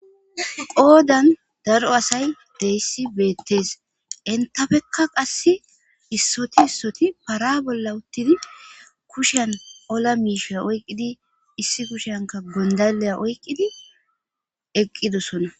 qoodan daro asay deyssi beettees intafekka qasse issoti issoti para bolla uttidi kushen ola miishea oyqqidi issi kushanka gondaleya oyqqidi eqqidosona